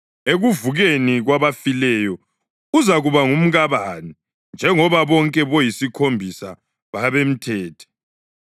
Ekuvukeni kwabafileyo uzakuba ngumkabani njengoba bonke boyisikhombisa babemthethe?”